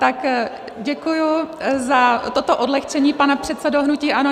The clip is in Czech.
Tak děkuji za toto odlehčení, pane předsedo hnutí ANO.